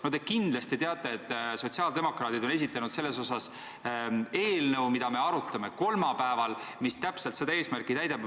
No te kindlasti teate, et sotsiaaldemokraadid on esitanud selle kohta eelnõu, mida me arutame kolmapäeval ja mis täpselt seda eesmärki teenib.